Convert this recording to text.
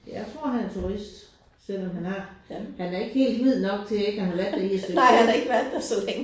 Jeg tror han er turist. Selvom han er han er ikke helt hvid nok til ikke at have været der i et stykke tid